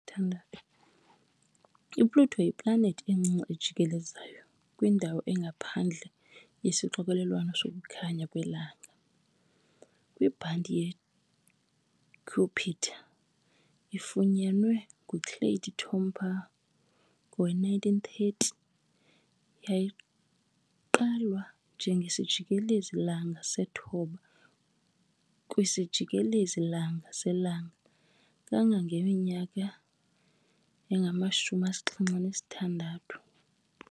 IPluto yiplanethi encinci ejikelezayo kwindawo engaphandle yesixokelelwano sokukhanya kwelanga, kwibhanti yeKuiper. Ifunyanwe nguClyde Tombaugh ngowe-1930, yayigqalwa njengesijikelezi -langa sethoba kwisijikelezi-langa selanga kangangeminyaka engama-76.